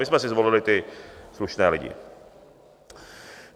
My jsme si zvolili ty slušné lidi.